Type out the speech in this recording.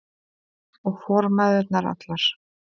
Og formæðurnar allar.